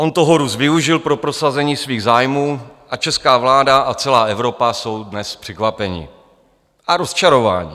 On toho Rus využil pro prosazení svých zájmů a česká vláda a celá Evropa jsou dnes překvapeny a rozčarovány.